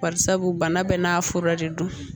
Bari sabu bana bɛɛ n'a fura de don